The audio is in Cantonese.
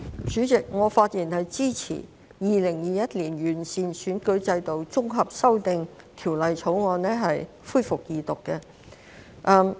主席，我發言支持《2021年完善選舉制度條例草案》恢復二讀。